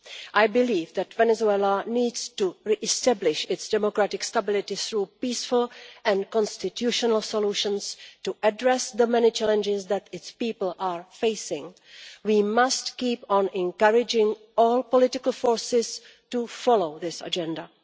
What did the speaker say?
I believe that Venezuela needs to re establish its democratic stability through peaceful and constitutional solutions to address the many challenges that its people are facing. We must keep on encouraging all political forces to follow this agenda.